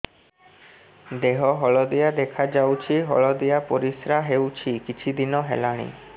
ଦେହ ହଳଦିଆ ଦେଖାଯାଉଛି ହଳଦିଆ ପରିଶ୍ରା ହେଉଛି କିଛିଦିନ ହେଲାଣି